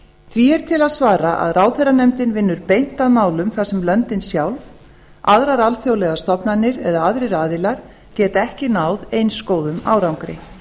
því er til að svara að ráðherranefndin vinnur beint að málum þar sem löndin sjálf aðrar alþjóðlegar stofnanir eða aðrir aðilar geta ekki náð eins góðum árangri